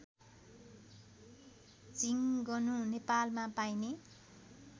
झिङ्गनु नेपालमा पाइने